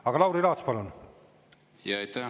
Aga Lauri Laats, palun!